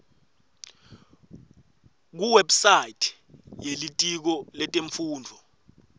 kuwebsite yelitiko letemfundvo